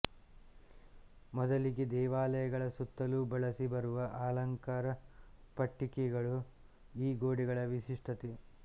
ಮೊದಲಿಗೆ ದೇವಾಲಯಗಳ ಸುತ್ತಲೂ ಬಳಸಿ ಬರುವ ಅಲಂಕಾರ ಪಟ್ಟಿಕೆಗಳು ಈ ಗೋಡೆಗಳ ವಿಶಿಷ್ಟತೆ